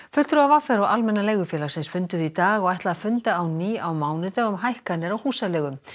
fulltrúar v r og Almenna leigufélagsins funduðu í dag og ætla að funda á ný á mánudag um hækkanir á húsaleigu